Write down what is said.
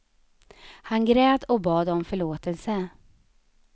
Han grät och bad om förlåtelse.